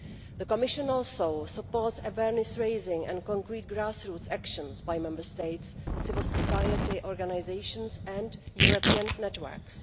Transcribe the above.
The Commission also supports awareness raising and concrete grassroots actions by Member States, civil society organisations and European networks.